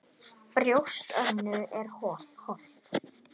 Brjóst Önnu er holt.